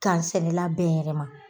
Kansɛnɛla bɛɛ yɛrɛ ma